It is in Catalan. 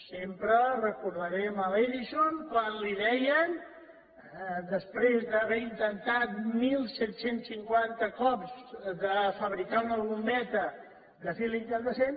sempre recordarem a l’edison quan li deien després d’haver intentat disset cinquanta cops de fabricar una bombeta de fil incandescent